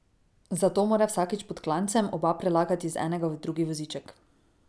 Zato mora vsakič pod klancem oba prelagati iz enega v drugi voziček.